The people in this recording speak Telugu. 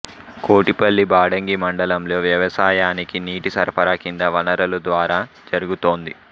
కోటిపల్లి బాడంగి మండలంలో వ్యవసాయానికి నీటి సరఫరా కింది వనరుల ద్వారా జరుగుతోంది